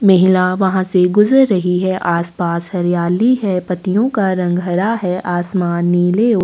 महिला वहाँ से गुजर रही हैं आसपास हरियाली है पत्तियों का रंग हरा है असामना नीले और--